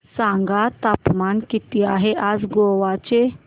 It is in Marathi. सांगा तापमान किती आहे आज गोवा चे